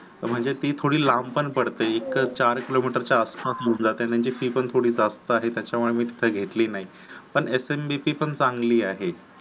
म्हणजे ती थोडी लांब पण पडते एक चार किलोमीटरच्या आसपास घेतला पण त्यांची fee पण थोडी जास्त आहे त्याच्यामुळे मी तिथे घेतली नाही पण एसएमबीपी पण चांगली आहे